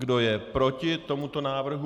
Kdo je proti tomuto návrhu?